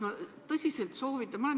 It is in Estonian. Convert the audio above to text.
Ma tõsiselt soovitan seda mõelda.